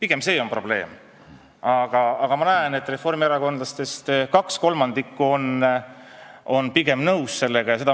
Aga ma näen, et kaks kolmandikku reformierakondlastest on sellega siiski pigem nõus.